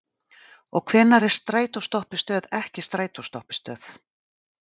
Og hvenær er strætóstoppistöð ekki strætóstoppistöð?